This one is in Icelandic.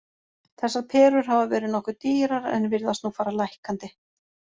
Þessar perur hafa verið nokkuð dýrar en virðast nú fara lækkandi.